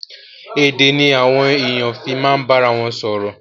Èdè ni àwọn èèyàn fi ma bá ara wọn sọ̀rọ̀.